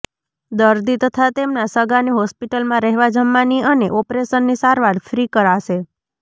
દર્દી તથા તેમના સગાને હોસ્પિટલમાં રહેવા જમવાની અને ઓપરેશનની સારવાર ફ્રી કરાશે